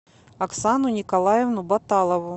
оксану николаевну баталову